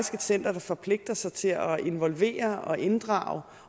center der forpligter sig til at involvere og inddrage